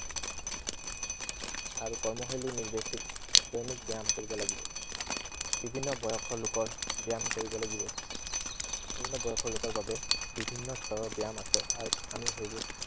আৰু কৰ্মশৈলী নিজেই ঠিক, দৈনিক ব্য়ায়াম কৰিব লাগিব। বিভিন্ন বয়লৰ লোকৰ ব্য়ায়াম কৰিব লাগিব। বিভিন্ন বয়সৰ লোকৰ বাবে বিভিন্ন স্তৰৰ ব্য়ায়াম আছে। আৰু আমি সেইবোৰ